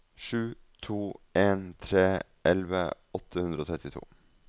sju to en tre elleve åtte hundre og trettito